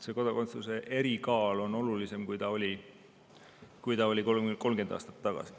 Kodakondsuse erikaal on olulisem, kui see oli 30 aastat tagasi.